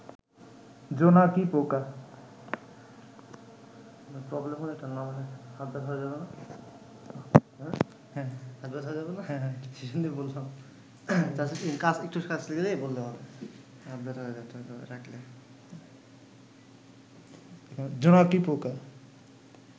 জোনাকি পোকা